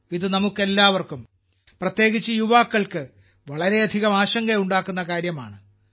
ഇത് നമുക്കെല്ലാവർക്കും പ്രത്യേകിച്ച് യുവാക്കൾക്ക് വളരെയധികം ആശങ്കയുണ്ടാക്കുന്ന കാര്യമാണ്